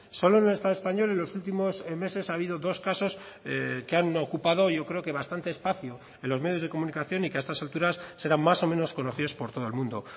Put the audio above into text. solo en el estado español en los últimos meses ha habido dos casos que han ocupado yo creo que bastante espacio en los medios de comunicación y que a estas alturas serán más o menos conocidos por todo el mundo